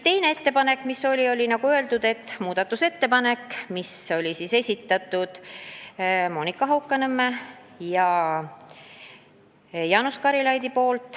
Teine ettepanek oli, nagu öeldud, muudatusettepanek, mille esitasid Monika Haukanõmm ja Jaanus Karilaid.